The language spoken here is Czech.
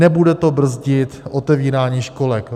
Nebude to brzdit otevírání školek.